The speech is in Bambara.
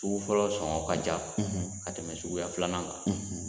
Sugu fɔlɔ sɔngɔn ka ca ka tɛmɛ suguya filanan kan.